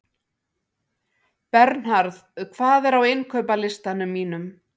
Bernharð, hvað er á innkaupalistanum mínum?